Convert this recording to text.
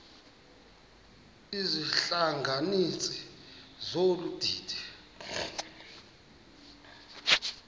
izihlanganisi zolu didi